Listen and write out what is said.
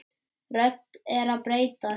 Röddin er að bresta.